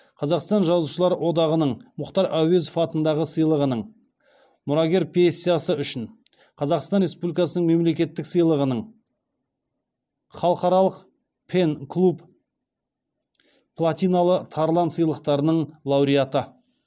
қазақстан жазушылар одағының мұқтар әуезов атындағы сыйлығының қазақстан республикасы мемлекеттік сыйлығының халықаралық пен клуб платиналы тарлан сыйлықтарының лауреаты